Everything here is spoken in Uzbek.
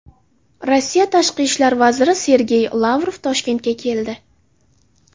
Rossiya tashqi ishlar vaziri Sergey Lavrov Toshkentga keldi.